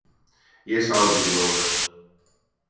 Ég sá þetta ekki nógu vel.